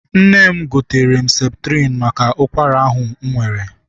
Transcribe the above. Nne m goteere m septrin maka ụkwara ahụ m nwere.